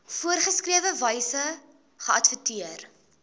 voorgeskrewe wyse geadverteer